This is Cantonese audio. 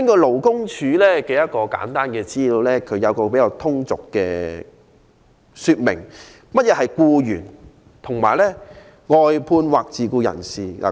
勞工處有一份簡單的資料，以比較通俗的方式說明何謂僱員、外判人士或自僱人士。